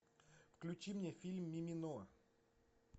включи мне фильм мимино